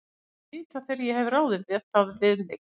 Ég læt þig vita, þegar ég hef ráðið það við mig